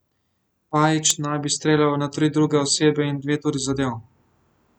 Pajić naj bi streljal na tri druge osebe in dve tudi zadel.